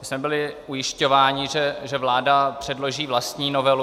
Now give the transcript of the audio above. My jsme byli ujišťováni, že vláda předloží vlastní novelu.